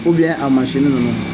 Ubiyɛn a masini nunnu